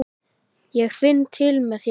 Ég finn til með þér.